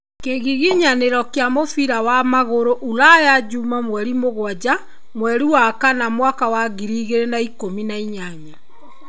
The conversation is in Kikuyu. Kĩgiginyanĩro kĩa mũbira wa magũrũ ũraya juma mweri mũgwanja mweri wa kana mwaka wa ngiri igĩrĩ na ikũmi na inyanya.